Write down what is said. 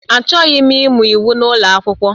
Achọghị m ịmụ iwu n'ụlọ akwụkwọ